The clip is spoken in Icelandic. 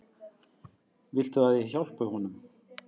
Viltu að ég hjálpi honum?